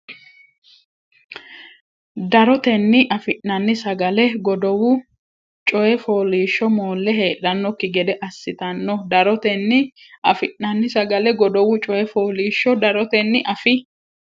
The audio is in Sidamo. Darotenni afi nanni sagale godowu coyi foollishsho moolle heedhannokki gede assitanno Darotenni afi nanni sagale godowu coyi foollishsho Darotenni afi.